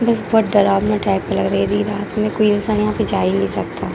बस बहुत डराबना टाइप लग रहा हैरात में कोई इंसान यहाँ पे जा ही नहीं सकता।